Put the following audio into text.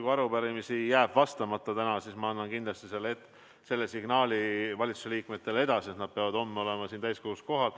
Kui arupärimisi jääb täna vastamata, siis ma annan kindlasti selle signaali valitsuse liikmetele edasi, et nad peavad homme olema siin täiskogus kohal.